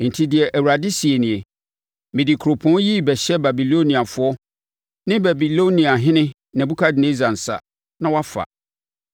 Enti, deɛ Awurade seɛ nie: Mede kuropɔn yi rebɛhyɛ Babiloniafoɔ ne Babiloniahene Nebukadnessar nsa, na wɔafa.